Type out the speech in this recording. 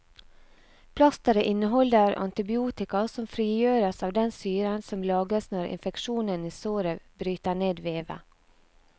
Plasteret inneholder antibiotika som frigjøres av den syren som lages når infeksjonen i såret bryter ned vevet.